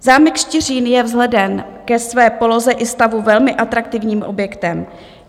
Zámek Štiřín je vzhledem ke své poloze i stavu velmi atraktivním objektem.